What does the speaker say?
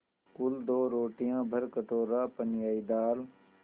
कुल दो रोटियाँ भरकटोरा पनियाई दाल